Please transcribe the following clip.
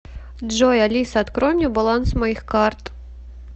джой алиса открой мне баланс моих карт